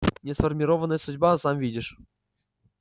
несформированная судьба сам видишь